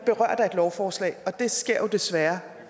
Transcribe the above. lovforslag og det sker desværre